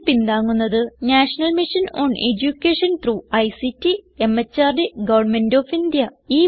ഇതിനെ പിന്താങ്ങുന്നത് national mission on education through ICT MHRD government of India